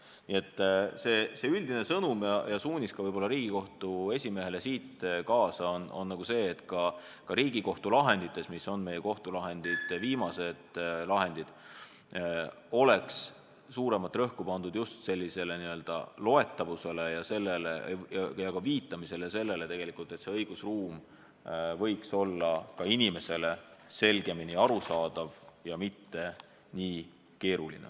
Nii et üldine sõnum ja suunis ka võib-olla Riigikohtu esimehele, mida siit kaasa võtta, on see, et ka Riigikohtu lahendites, mis on meie kohtulahendite reas viimased, oleks suuremat rõhku pandud just loetavusele, viitamisele ja sellele, et õigusruum oleks inimesele selgemini arusaadav ja mitte nii keeruline.